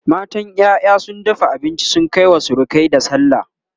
matan ƴaƴa sun dafa abinci sun Kai wa surukai da sallah